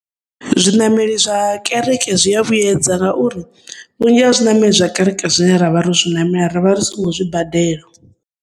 Zwinameli zwa kereke zwiavhuyedza ngauri, vhunzhi ha zwinameli zwa kereke zwine ra zwinamela rivha risongo zwibadela.